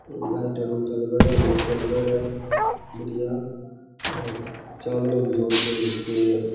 Light लगायोड़ा है लगायोड़ा है बढ़िया चानणो भी जोर को हो रख्यो है।